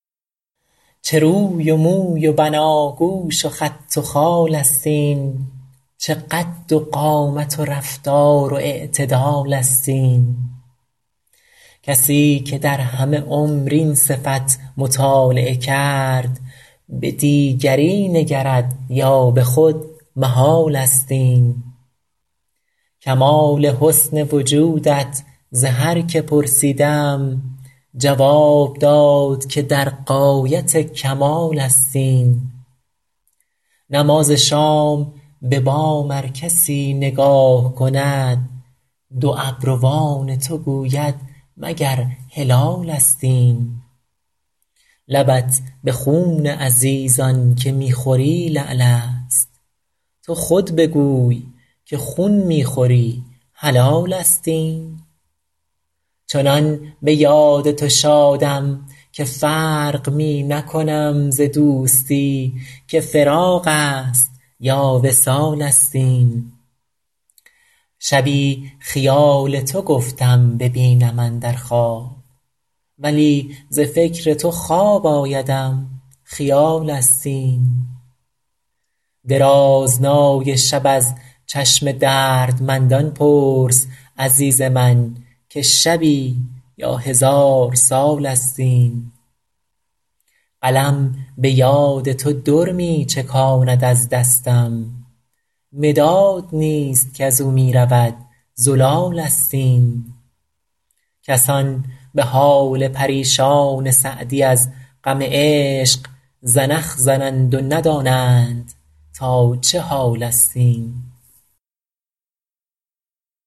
چه روی و موی و بناگوش و خط و خال است این چه قد و قامت و رفتار و اعتدال است این کسی که در همه عمر این صفت مطالعه کرد به دیگری نگرد یا به خود محال است این کمال حسن وجودت ز هر که پرسیدم جواب داد که در غایت کمال است این نماز شام به بام ار کسی نگاه کند دو ابروان تو گوید مگر هلالست این لبت به خون عزیزان که می خوری لعل است تو خود بگوی که خون می خوری حلال است این چنان به یاد تو شادم که فرق می نکنم ز دوستی که فراق است یا وصال است این شبی خیال تو گفتم ببینم اندر خواب ولی ز فکر تو خواب آیدم خیال است این درازنای شب از چشم دردمندان پرس عزیز من که شبی یا هزار سال است این قلم به یاد تو در می چکاند از دستم مداد نیست کز او می رود زلال است این کسان به حال پریشان سعدی از غم عشق زنخ زنند و ندانند تا چه حال است این